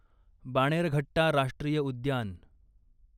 बाणेरघट्टा राष्ट्रीय उद्यान